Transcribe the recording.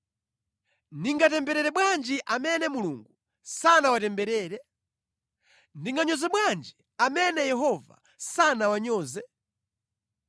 Ndingatemberere bwanji amene Mulungu sanawatemberere? Ndinganyoze bwanji amene Yehova sanawanyoze?